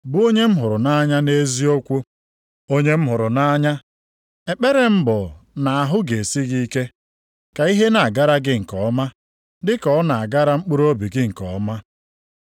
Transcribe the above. Onye m hụrụ nʼanya, ekpere m bụ na ahụ ga-esi gị ike, ka ihe na-agara gị nke ọma, dịka ọ na-agara mkpụrụobi gị nke ọma.